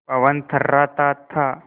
पवन थर्राता था